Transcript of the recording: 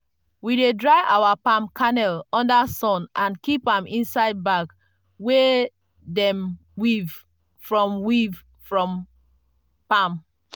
we dey dry our palm kernel under sun and keep am inside bag wey dem weave from weave from palm.